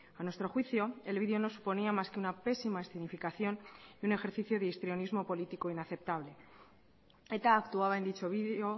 a nuestro juicio el video no suponía más que una pésima escenificación y un ejercicio de histrionismo político inaceptable eta actuaba en dicho video